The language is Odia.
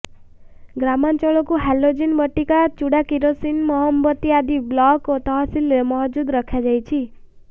ଗ୍ରାମାଞ୍ଚଳକୁ ହାଲୋଜିନ ବଟିକା ଚୁଡା କିରୋସିନ ମହମବତୀ ଆଦି ବ୍ଲକ ଓ ତହସିଲରେ ମହଜୁଦ ରଖାଯାଇଛି